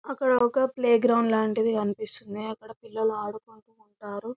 అక్కడ ఒక ప్లేగ్రౌండ్ లాంటిది కనిపిస్తుంది అక్కడ పిల్లలు ఆడుకుంటు ఉంటారు .